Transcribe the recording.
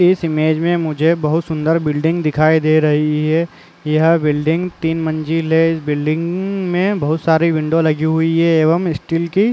इस इमेज में मुझे बहोत सुन्दर बिलडिंग दिखाई दे रही है यह बिलडिंग तीन मंजिल है इस बिलडिंग अम्म्म-- में बहोत सारी विंडो लगी हुई है एवं स्टील की--